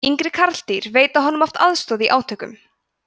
yngri karldýr veita honum oft aðstoð í átökum